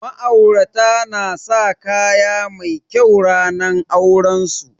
Ma'aurata na sa kaya mai kyau ranar auren su